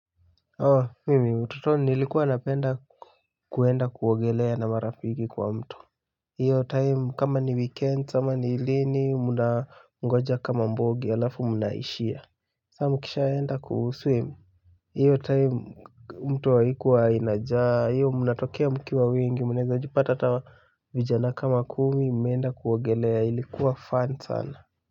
Oh mimi utotoni nilikuwa napenda kuenda kuogelea na marafiki kwa mto hiyo time kama ni weekend ama ni lini mnangoja kama mbogi alafu mnaishia saa mkishaenda kuswim hiyo time mto haikuwa inajaa hiyo mnatokea mkiwa wengi mnawezajipata hata vijana kama kumi mumeenda kuogelea ilikuwa fun sana.